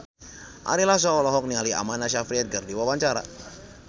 Ari Lasso olohok ningali Amanda Sayfried keur diwawancara